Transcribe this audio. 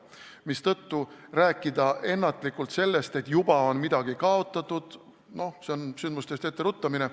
Seega ei maksa ennatlikult rääkida sellest, et juba on midagi kaotatud – see on sündmustest etteruttamine.